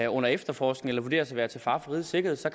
nogen efterforskes eller vurderes at være til fare for rigets sikkerhed så